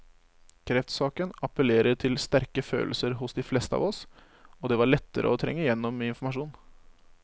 Kreftsaken appellerer til sterke følelser hos de fleste av oss, og det var lettere å trenge igjennom med informasjon.